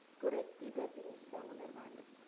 korrektiewe dienste onderwys